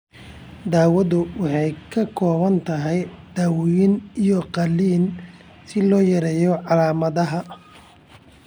Daawadu waxay ka kooban tahay daawooyin iyo qalliin si loo yareeyo calaamadaha.